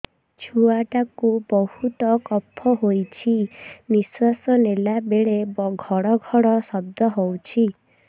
ଛୁଆ ଟା କୁ ବହୁତ କଫ ହୋଇଛି ନିଶ୍ୱାସ ନେଲା ବେଳେ ଘଡ ଘଡ ଶବ୍ଦ ହଉଛି